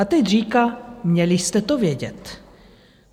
A teď říká: Měli jste to vědět.